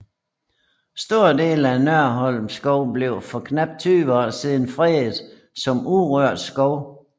Store dele af Nørholm Skov blev for knap 20 år siden fredet som urørt skov